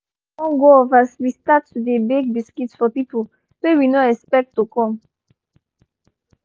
nepa con go off as we start to dey bake biscuits for people wey we no expect to come